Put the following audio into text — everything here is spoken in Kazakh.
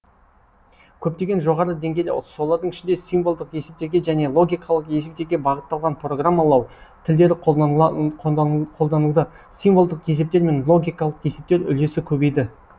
көптеген жоғары деңгейлі солардың ішінде символдық есептерге және логикалық есептерге бағытталған программалау тілдері қолданылды символдық есептер мен логикалық есептер үлесі көбейді